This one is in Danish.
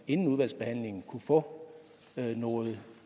inden udvalgsbehandlingen kunne få noget